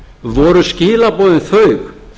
voru skilaboðin þau